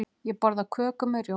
Ég borða köku með rjóma.